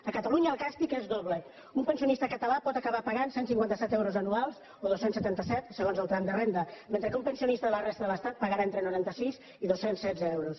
a catalunya el càstig és doble un pensionista català pot acabar pagant cent i cinquanta set euros anuals o dos cents i setanta set segons el tram de renda mentre que un pensionista de la resta de l’estat pagarà entre noranta sis i dos cents i setze euros